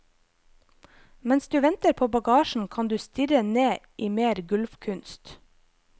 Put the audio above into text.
Mens du venter på bagasjen kan du stirre ned i mer gulvkunst.